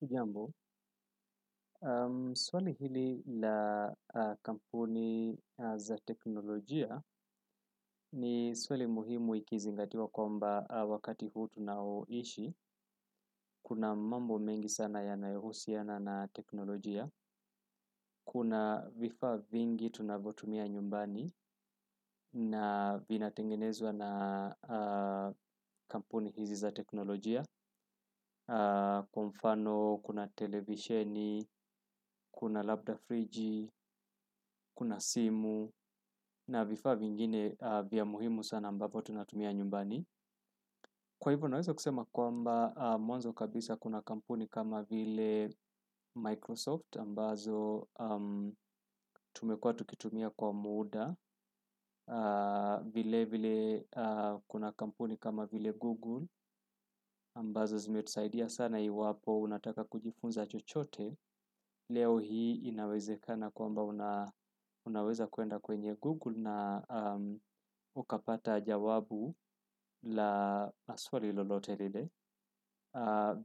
Hujambo swali hili la kampuni za teknolojia ni swali muhimu ikizingatiwa kwamba wakati huu ambao tunaishi kuna mambo mengi sana yanayohusiana na teknolojia. Kuna vifaa vingi tunavyotumia nyumbani na vina tengenezwa na kampuni hizi za teknolojia. Kwa mfano, kuna televisheni, kuna labda friji, kuna simu na vifaa vingine vya muhimu sana ambapo tunatumia nyumbani kwa hivyo naweza kusema kwamba mwanzo kabisa kuna kampuni kama vile Microsoft ambazo tumekuwa tukitumia kwa muuda vile vile kuna kampuni kama vile Google ambazo zimetusaidia sana iwapo unataka kujifunza chochote leo hii inawezekana kwamba unaweza kuenda kwenye Google na ukapata jawabu la swali lolote lile.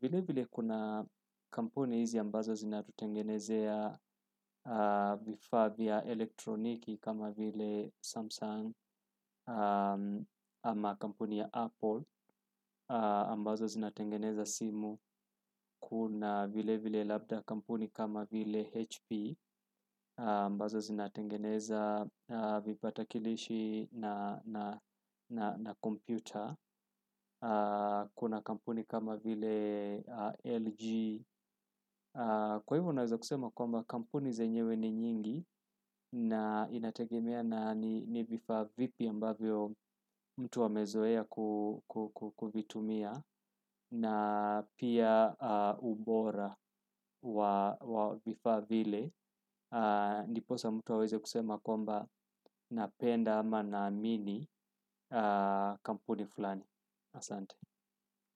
Vile vile kuna kampuni hizi ambazo zinatutengenezea vifaa vya elektroniki kama vile Samsung ama kampuni ya Apple. Ambazo zinatengeneza simu kuna vile vile labda kampuni kama vile HP ambazo zinatengeneza vipata kilishi na kompyuta kuna kampuni kama vile LG. Kwa hivyo unaweza kusema kwamba kampuni zenyewe ni nyingi na inategemea na ni vifaa vipi ambavyo mtu amezoea kuvitumia na pia ubora wa vifaa vile ndiposa mtu aweze kusema kwamba na penda ama na amini kampuni fulani asante.